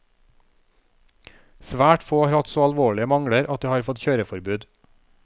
Svært få har hatt så alvorlige mangler at de har fått kjøreforbud.